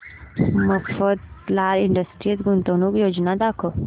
Mafatlal industries गुंतवणूक योजना दाखव